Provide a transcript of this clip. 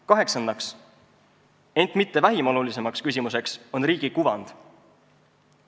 Kaheksas, ent mitte vähim oluline küsimus on riigi kuvand.